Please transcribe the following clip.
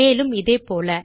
மேலும் இதேபோல